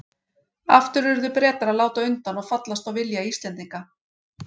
Aftur urðu Bretar að láta undan og fallast á vilja Íslendinga.